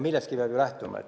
Millestki peab ju lähtuma.